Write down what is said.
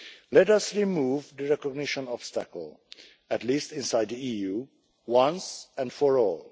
Let us remove the recognition obstacle, at least inside the EU, once and for all.